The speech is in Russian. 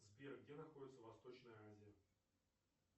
сбер где находится восточная азия